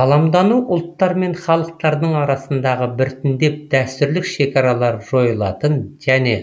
ғаламдану ұлттар мен халықтардың арасындағы біртіндеп дәстүрлік шекаралары жойылатын және